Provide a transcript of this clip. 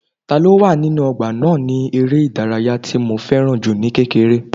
Ta ló wà nínú ọgbà náà ni eré ìdárayá tí mo fẹ́ràn jù ní kékeré